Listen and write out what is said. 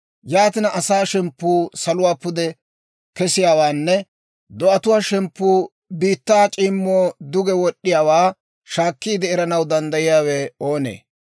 Yaatina, asaa shemppuu saluwaa pude kesiyaawaanne do'atuwaa shemppuu biittaa c'iimmaw duge wod'd'iyaawaa shaakkiide eranaw danddayiyaawe oonee?